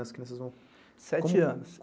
As crianças vão... Sete anos.